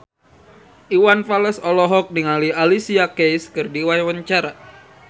Iwan Fals olohok ningali Alicia Keys keur diwawancara